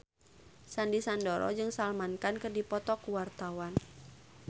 Sandy Sandoro jeung Salman Khan keur dipoto ku wartawan